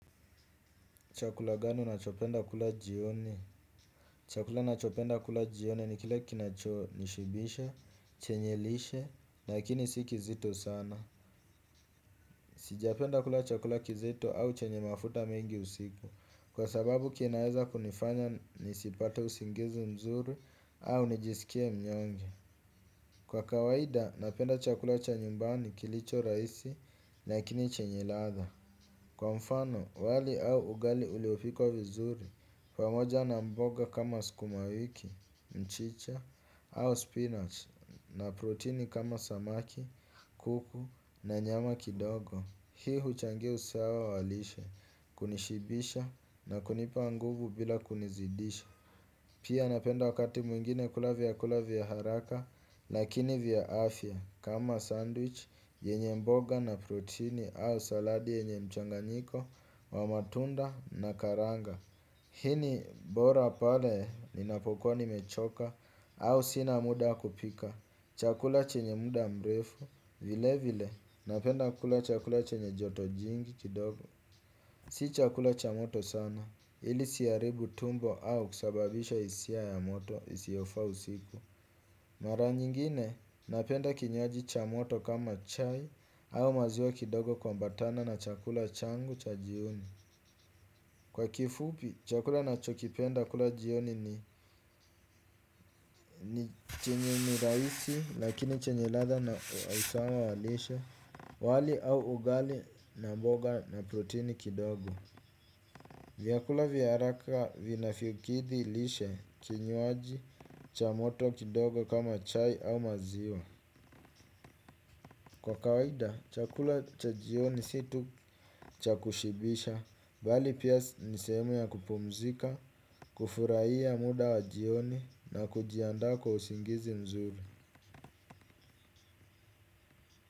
Chakula gani nachopenda kula jioni? Chakula nachopenda kula jioni ni kila kinachonishibisha, chenye lishe, lakini si kizito sana. Sijapenda kula chakula kizito au chenye mafuta mengi usiku. Kwa sababu kinaweza kunifanya nisipate usingizi mzuri au nijisikie mnyonge. Kwa kawaida, napenda chakula cha nyumbani kilicho rahisi, lakini chenye ladha. Kwa mfano, wali au ugali uliopikwa vizuri pamoja na mboga kama sukumawiki, mchicha au spinach na protini kama samaki, kuku na nyama kidogo. Hii huchangia usawa wa lishe, kunishibisha na kunipa nguvu bila kunizidisha. Pia napenda wakati mwingine kula vya kula vya haraka lakini vya afya kama sandwich yenye mboga na proteini au saladi yenye mchanganyiko wa matunda na karanga. Hii ni bora pale ninapokuwa nimechoka au sina muda kupika. Chakula chenye muda mrefu vile vile napenda kula chakula chenye joto jingi kidogo. Si chakula cha moto sana ili nisiharibu tumbo au kusababisha hisia ya moto isiyofaa usiku. Mara nyingine napenda kinywaji cha moto kama chai au maziwa kidogo kuambatana na chakula changu cha jioni. Kwa kifupi chakula nachokipenda kula jioni ni chenye nii rahisi lakini chenye ladha na usawa wa lishe. Wali au ugali na mboga na proteini kidogo. Vyakula vya haraka vinavyokidhi lishe kinywaji cha moto kidogo kama chai au maziwa. Kwa kawaida, chakula cha jioni sio tu cha kushibisha, bali pia ni sehemu ya kupumzika, kufurahia muda wa jioni na kujiandaa kwa usingizi mzuri.